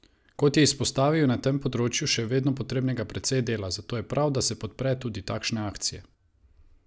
Kot je izpostavil, je na tem področju še vedno potrebnega precej dela, zato je prav, da se podpre tudi takšne akcije.